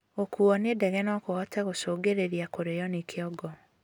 Gukuo ni ndege nokuhote gũcũngĩrĩrĩa kurio ni kĩongo